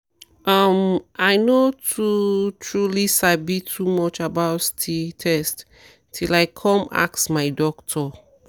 um i no too truely sabi too much about sti test till i come ask my doctor